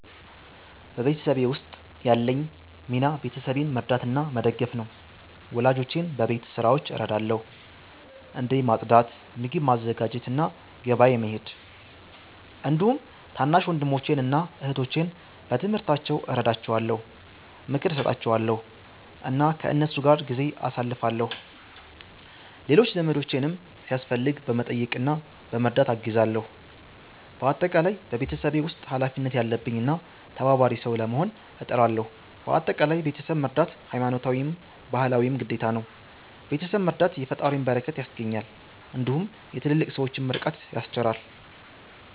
በቤተሰቤ ውስጥ ያለኝ ሚና ቤተሰቤን መርዳትና መደገፍ ነው። ወላጆቼን በቤት ስራዎች እረዳለሁ፣ እንደ ማጽዳት፣ ምግብ ማዘጋጀት እና ገበያ መሄድ። እንዲሁም ታናሽ ወንድሞቼን እና እህቶቼን በትምህርታቸው እረዳቸዋለሁ፣ ምክር እሰጣቸዋለሁ እና ከእነሱ ጋር ጊዜ አሳልፋለሁ። ሌሎች ዘመዶቼንም ሲያስፈልግ በመጠየቅ እና በመርዳት አግዛለሁ። በአጠቃላይ በቤተሰቤ ውስጥ ኃላፊነት ያለብኝ እና ተባባሪ ሰው ለመሆን እጥራለሁ። በአጠቃላይ ቤተሰብ መርዳት ሀይማኖታዊም ባህላዊም ግዴታ ነው። ቤተሰብ መረዳት የፈጣሪን በረከት ያስገኛል እንዲሁም የትልልቅ ሠዎችን ምርቃት ያስቸራል።